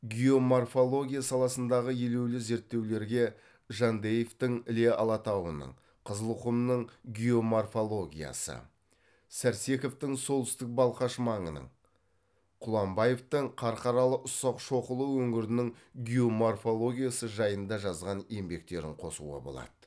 геоморфология саласындағы елеулі зерттеулерге жандаевтың іле алатауының қызылқұмның геоморфологиясы сәрсековтың солтүстік балқаш маңының құламбаевтың қарқаралы ұсақ шоқылы өңірінің геоморфологиясы жайында жазған еңбектерін қосуға болады